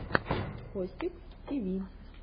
костик тиви